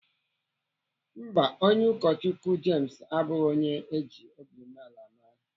Mba, Onye ụkọchukwu James abụghị onye eji obi umeala mara.